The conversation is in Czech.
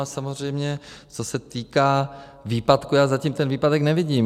A samozřejmě co se týká výpadku, já zatím ten výpadek nevidím.